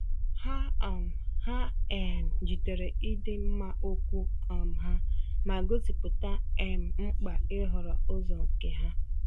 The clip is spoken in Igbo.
Ha um Ha um jidere ịdị mma okwu um ha, ma gosipụta um mkpa ịhọrọ ụzọ nke ha.